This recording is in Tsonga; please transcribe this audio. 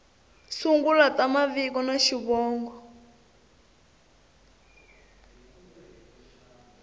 sungula ta mavito na xivongo